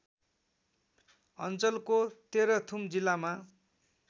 अञ्चलको तेह्रथुम जिल्लामा